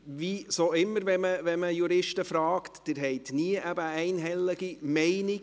– Wie immer, wenn man Juristen fragt, haben diese nie eine einhellige Meinung.